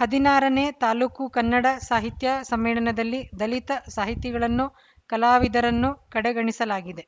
ಹದಿನಾರನೇ ತಾಲೂಕು ಕನ್ನಡ ಸಾಹಿತ್ಯ ಸಮ್ಮೇಳನದಲ್ಲಿ ದಲಿತ ಸಾಹಿತಿಗಳನ್ನು ಕಲಾವಿದರನ್ನು ಕಡೆಗಣಿಸಲಾಗಿದೆ